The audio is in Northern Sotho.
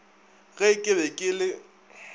ge ke be ke le